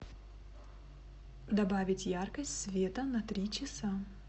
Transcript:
добавить яркость света на три часа